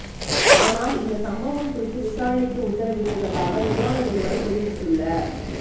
ஆனால் இந்த சம்பவம் குறித்து விசாரணைக்கு உத்தரவிட்டுள்ளதாக விமான நிறுவனம் தெரிவித்துள்ள